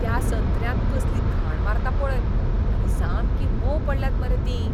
त्या संत्र्यांक कसली घाण मारता पळय आनी सामकीं मोंव पडल्यात मरे तीं.